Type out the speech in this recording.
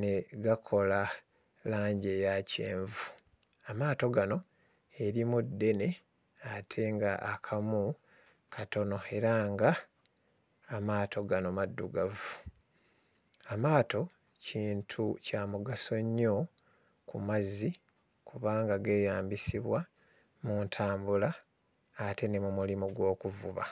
ne gakola langi eya kyenvu. Amaato gano erimu ddene ate ng'akamu katono era nga amaato gano maddugavu. Amaato kintu kya mugaso nnyo ku mazzi, kubanga geeyambisibwa mu ntambula ate ne mu mulimu gw'okuvuba.